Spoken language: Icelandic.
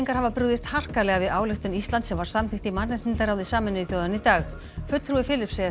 hafa brugðist harkalega við ályktun Íslands sem var samþykkt í mannréttindaráði Sameinuðu þjóðanna í dag fulltrúi Filippseyja